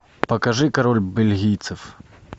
покажи король бельгийцев